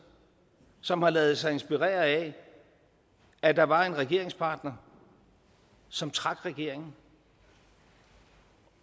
som har ladet sig inspirere af at der var en regeringspartner som trak i regeringen